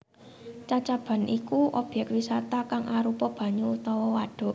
Cacaban iku obyek wisata kang arupa banyu utawa wadhuk